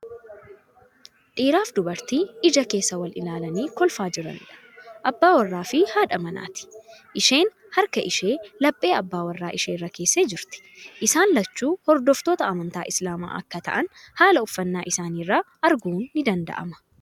Dhiiraaf dubartii ija keessa wal ilaalanii kolfaa jiraniidha. Abbaa warraa fii haadha manaati. Isheen harka ishee laphee abbaa warraa ishee irra keessee jirti. Isaan lachuu hordoftoota amantii Islaamaa akka ta'an haala uffannaa isaanii irraa arguun ni danda'ama.